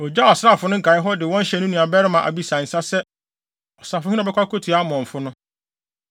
Ogyaw asraafo no nkae hɔ, de wɔn hyɛɛ ne nuabarima Abisai nsa sɛ ɔsafohene a ɔbɛkɔ akotua Amonfo no.